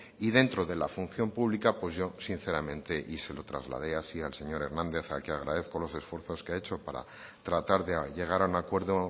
y dentro de la función pública pues yo sinceramente y se lo trasladé así al señor hernández al que agradezco los esfuerzos que ha hecho para tratar de llegar a un acuerdo